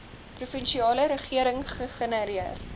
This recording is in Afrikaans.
provinsiale regering gegenereer